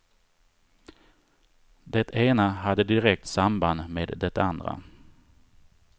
Det ena hade direkt samband med det andra.